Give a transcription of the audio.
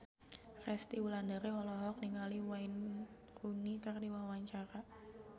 Resty Wulandari olohok ningali Wayne Rooney keur diwawancara